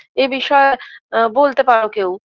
এ বিষয়ে বলতে পারো কেউ